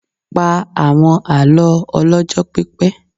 Pa àwọn àlọ́ ọlọ́jọ́ pípẹ́.